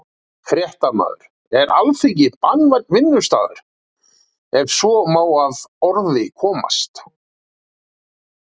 Fréttamaður: Er Alþingi barnvænn vinnustaður, ef svo má að orði komast?